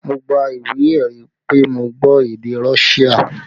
Mo gba ìwé ẹ̀rí pé mo gbọ́ èdè Russia